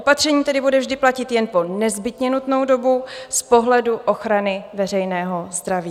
Opatření tedy bude vždy platit jen po nezbytně nutnou dobu z pohledu ochrany veřejného zdraví.